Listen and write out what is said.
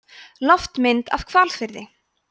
loftmynd af hvalfirði